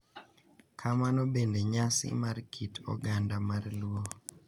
Kamano bende, nyasi mar kit oganda mar luo,